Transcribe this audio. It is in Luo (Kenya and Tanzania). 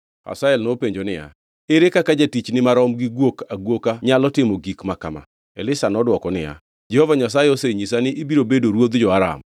Hazael nopenjo niya, “Ere kaka jatichni marom gi guok aguoka nyalo timo gik ma kama?” Elisha nodwoko niya, “Jehova Nyasaye osenyisa ni ibiro bedo ruodh jo-Aram.”